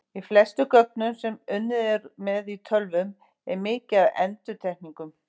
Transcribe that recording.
Í flestum gögnum sem unnið er með í tölvum er mikið af endurtekningum.